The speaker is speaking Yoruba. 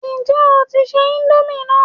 Ǹjẹ́ o tí ń se íńdómì náà?